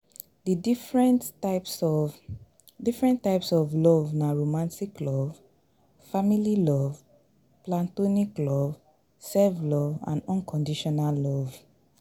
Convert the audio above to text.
di different types of, different type of love na romantic love, family love, platonic love, self-love and unconditional love.